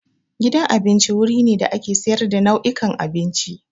Gidan abinci wuri ne da ake sayar da nau'ikan abinci.